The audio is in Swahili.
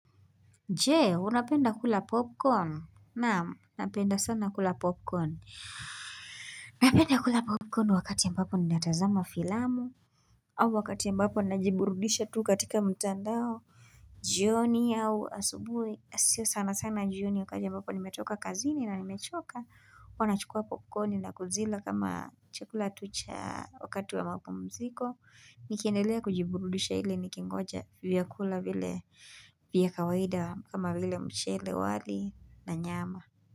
Je unapenda kula popcorn? Naam napenda sana kula popcorn Napenda kula popcorn wakati mbapo ninatazama filamu au wakati mbapo najiburudisha tu katika mtandao jioni au asubuhi siyo sana sana jioni wakati ambapo nimetoka kazini na nimechoka huwa nachukua popcorn na kuzila kama chakula tu cha wakati wa mapumziko nikiendelea kujiburudisha ili nikingoja vyakula vile vyakawaida kama vile mchele wali na nyama.